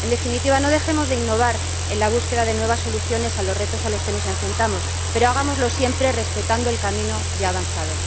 En definitiva, no dejemos de innovar en la búsqueda de nuevas soluciones a los retos a los que nos enfrentamos, pero hagámoslo siempre respetando el camino ya recorrido.